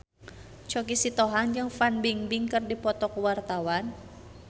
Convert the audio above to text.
Choky Sitohang jeung Fan Bingbing keur dipoto ku wartawan